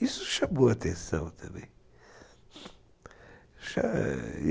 Isso chamou a atenção também.